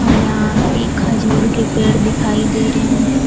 यहां पे खजूर के पेड़ दिखाई दे रहे हैं।